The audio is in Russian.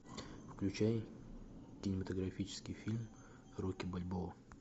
включай кинематографический фильм рокки бальбоа